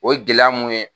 O ye gɛlɛya mun ye